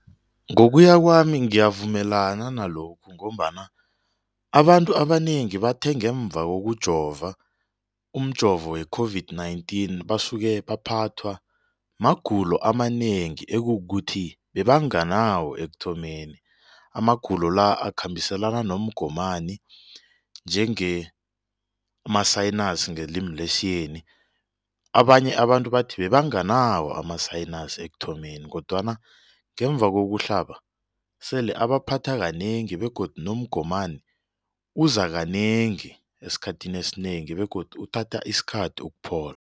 Ngokuya kwami ngiyavumelana nalokhu ngombana abantu abanengi bathe ngemva kokujova umjovo we-COVID-19 basuke baphathwa magulo amanengi ekukuthi bebanganawo ekuthomeni. Amagulo la akhambiselana nomgomani njenge ama-sinus ngelimi lesiyeni abanye abantu bathi bebanganawo ama-sinus ekuthomeni kodwana ngemva kokuhlaba sele abaphatha kanengi begodu nomgomani uza kanengi esikhathini esinengi begodu uthatha isikhathi ukuphola.